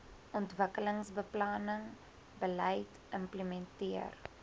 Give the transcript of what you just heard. ontwikkelingsbeplanning beleid implementeer